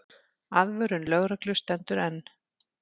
Aðvörun lögreglu stendur enn.